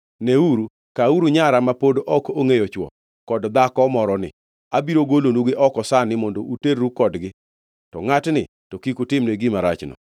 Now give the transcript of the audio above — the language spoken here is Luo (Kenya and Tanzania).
Neuru, kawuru nyara ma pod ok ongʼeyo chwo, kod dhako moroni. Abiro golonugi oko sani mondo uterru kodgi; to ngʼatni to kik utimne gima rachno.”